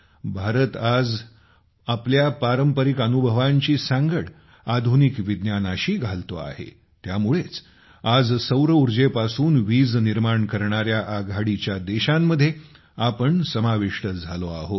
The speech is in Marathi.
भारत आज आपल्या पारंपारिक अनुभवांची सांगड आधुनिक विज्ञानाशी घालतो आहे त्यामुळेच आज सौरऊर्जेपासून वीज निर्माण करणाऱ्या आघाडीच्या देशांमध्ये आपण समाविष्ट झालो आहोत